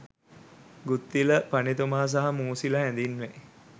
ගුත්තිල පඬිතුමා සහ මූසිල හැඳින්වේ.